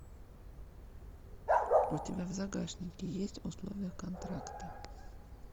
у тебя в загашнике есть условия контракта